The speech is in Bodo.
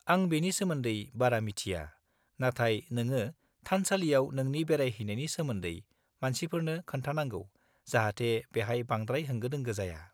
-आं बेनि सोमोन्दै बारा मिथिया, नाथाय नोंङो थानसालियाव नोंनि बेरायहैनायनि सोमोन्दै मानसिफोरनो खोन्थानांगौ जाहाथे बेहाय बांद्राय होंगो दोंगो जाया।